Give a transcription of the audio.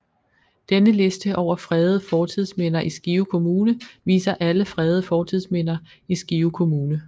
Denne liste over fredede fortidsminder i Skive Kommune viser alle fredede fortidsminder i Skive Kommune